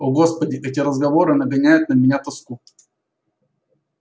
о господи эти разговоры нагоняют на меня тоску